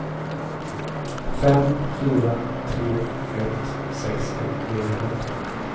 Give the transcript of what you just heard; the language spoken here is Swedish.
fem fyra tre ett sextio niohundrasjutton